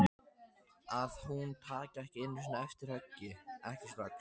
Að hún taki ekki einu sinni eftir höggi, ekki strax.